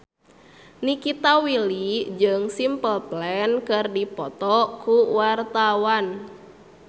Nikita Willy jeung Simple Plan keur dipoto ku wartawan